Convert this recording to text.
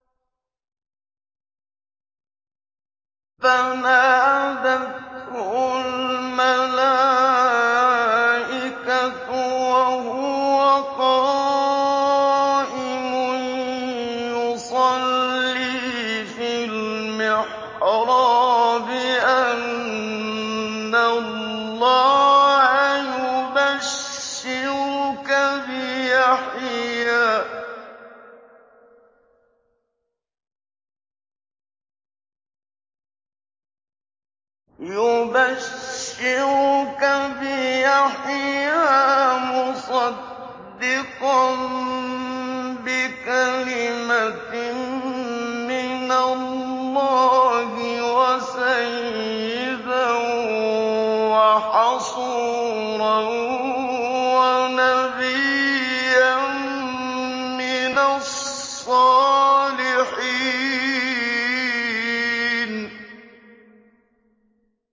فَنَادَتْهُ الْمَلَائِكَةُ وَهُوَ قَائِمٌ يُصَلِّي فِي الْمِحْرَابِ أَنَّ اللَّهَ يُبَشِّرُكَ بِيَحْيَىٰ مُصَدِّقًا بِكَلِمَةٍ مِّنَ اللَّهِ وَسَيِّدًا وَحَصُورًا وَنَبِيًّا مِّنَ الصَّالِحِينَ